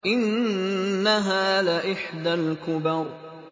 إِنَّهَا لَإِحْدَى الْكُبَرِ